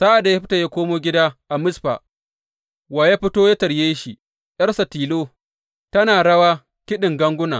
Sa’ad da Yefta ya komo gida a Mizfa, wa ya fito yă tarye shi, ’yarsa tilo, tana rawa kiɗin ganguna!